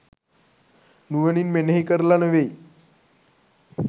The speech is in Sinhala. නුවණින් මෙනෙහි කරලා නෙවෙයි.